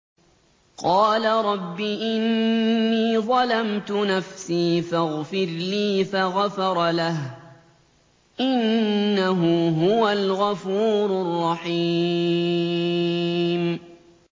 قَالَ رَبِّ إِنِّي ظَلَمْتُ نَفْسِي فَاغْفِرْ لِي فَغَفَرَ لَهُ ۚ إِنَّهُ هُوَ الْغَفُورُ الرَّحِيمُ